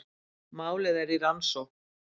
Málið er rannsókn